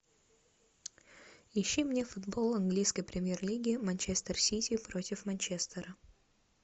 ищи мне футбол английской премьер лиги манчестер сити против манчестера